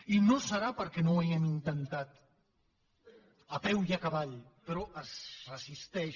i no serà perquè no ho hàgim intentat a peu i a cavall però es resisteix